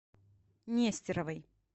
нестеровой